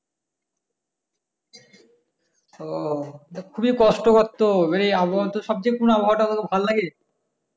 ও খুবি কষ্টকর তো এই আবহাওয়া তো সবচেয়ে কোন আবহাওয়া তোর ভালো লাগে